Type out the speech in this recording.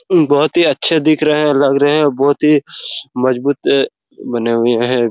बहुत ही अच्छे दिख रहे हैं लग रहे हैं और बहुत ही मजबूत बने हुए हैं।